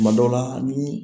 Tuma dɔw la ni